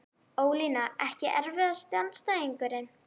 ólína Ekki erfiðasti andstæðingur?